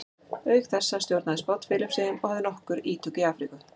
auk þessa stjórnaði spánn filippseyjum og hafði nokkur ítök í afríku